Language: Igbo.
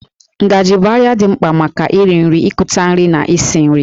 Ngajị bụ àrịá dị mkpa maka iri nri, ikuputa nri na isi nri